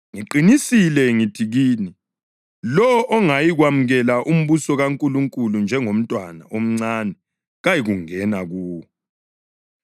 Ngiqinisile ngithi kini, lowo ongayikwemukela umbuso kaNkulunkulu njengomntwana omncane kayikungena kuwo.”